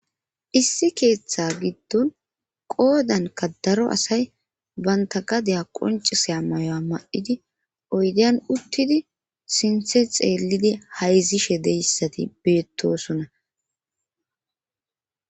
issi keeththa giddon qoodanka daro asay banta gadeya qoncisaya mayuwa mad'idi oydian uttidi sinthe xeellidi hayzishe deyssati beettosona